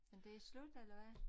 Men det slut eller hvad?